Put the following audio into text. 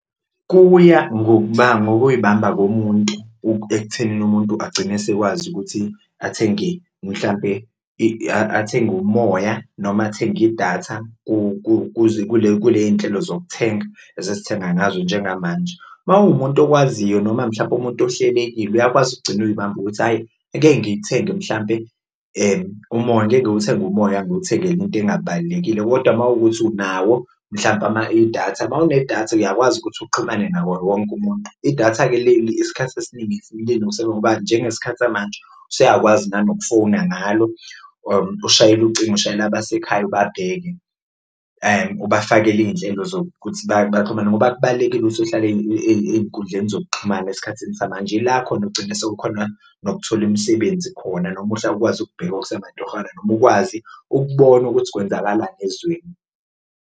Kuya ngokuyibamba komuntu ekuthenini umuntu agcine asekwazi ukuthi athenge mhlampe athenge umoya noma athenge idatha kule kule y'nhlelo zokuthenga ezesithenga ngazo njengamanje, uma uwumuntu okwaziyo noma mhlampe umuntu ohlelekile uyakwazi ukugcina uyibamba ukuthi hhayi angeke ngiyithenge mhlampe umoya angeke ngiwuthenge umoya ngiwuthengele into engabalulekile. Kodwa mawukuthi unawo mhlampe idatha, uma unedatha uyakwazi ukuthi uxhumane nawo wonke umuntu idatha-ke isikhathi esiningi ngoba njengesikhathi samanje usuyakwazi nanokufowuna ngalo ushayele ucingo ushayele abasekhaya ubabheke. Ubafakele iy'nhlelo zokuthi baxhumane ngoba kubalulekile ukuthi uhlale ey'nkundleni zokuxhumana esikhathini samanje ila khona ogcina sewukhona nokuthola imisebenzi khona noma ukwazi ukubheka okusamatohwana noma ukwazi ukubona ukuthi kwenzakalani ezweni.